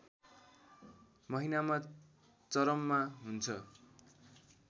महिनामा चरममा हुन्छ